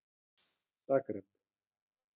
Idda, áttu tyggjó?